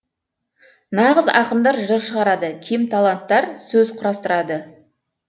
нағыз ақындар жыр шығарады кемталанттар сөз құрастырады